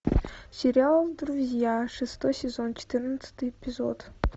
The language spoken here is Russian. сериал друзья шестой сезон четырнадцатый эпизод